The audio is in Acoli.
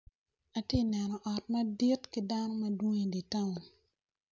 Atye neno ot madit kidano madwong idyer town.